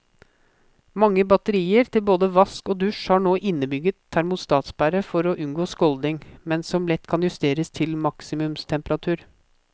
Mange batterier til både vask og dusj har nå innebygget termostatsperre for å unngå skålding, men som lett kan justeres til maksimumstemperatur.